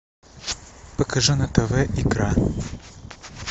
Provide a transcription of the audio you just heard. покажи на тв икра